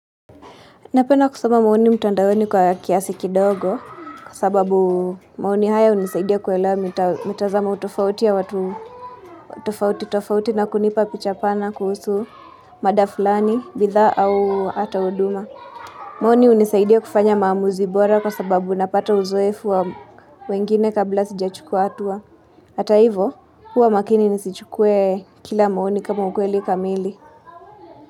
Napenda kusoma maoni mtandaoni kwa kiasi kidogo kwa sababu maoni haya hunisaidia kuelewa mitazamo tofauti ya watu tofauti tofauti na kunipa picha pana kuhusu mada fulani, bidhaa au hata uduma. Maoni hunisaidia kufanya maamuzi bora kwa sababu unapata uzoefu wa wengine kabla sijachukua hatua. Hata hivo, huwa makini nisichukue kila maoni kama ukweli kamili.